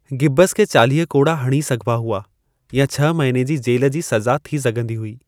गिब्बंसि खे चालीह कोड़ा हणी सघिबा हुआ, या छह महीने जी जेल जी सज़ा थी सघंदी हुई।